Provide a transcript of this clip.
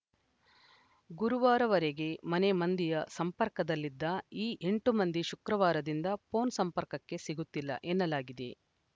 ಗುರುವಾರವರೆಗೆ ಮನೆ ಮಂದಿಯ ಸಂಪರ್ಕದಲ್ಲಿದ್ದ ಈ ಎಂಟು ಮಂದಿ ಶುಕ್ರವಾರದಿಂದ ಫೋನ್‌ ಸಂಪರ್ಕಕ್ಕೆ ಸಿಗುತ್ತಿಲ್ಲ ಎನ್ನಲಾಗಿದೆ